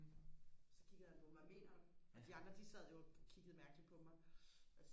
så kiggede han på mig hvad mener du og de andre de sad jo og kiggede mærkeligt på mig